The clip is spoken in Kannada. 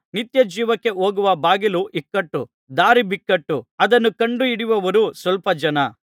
ನಿತ್ಯ ಜೀವಕ್ಕೆ ಹೋಗುವ ಬಾಗಿಲು ಇಕ್ಕಟ್ಟು ದಾರಿ ಬಿಕ್ಕಟ್ಟು ಅದನ್ನು ಕಂಡುಹಿಡಿಯುವವರು ಸ್ವಲ್ಪ ಜನ